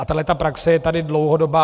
A tato praxe je tady dlouhodobá.